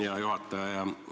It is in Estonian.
Hea juhataja!